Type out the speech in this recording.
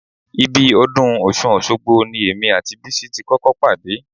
Ibi ọdún Ọ̀ṣun Òṣogbo ni èmi àti Bísí ti kọ́kọ́ pàdé